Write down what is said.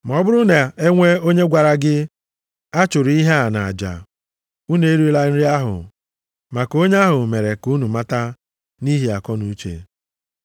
Ma ọ buru na e nwee onye gwara gị, “A chụrụ ihe a nʼaja.” Unu erila nri ahụ, maka onye ahụ mere ka unu mata, na nʼihi akọnuche.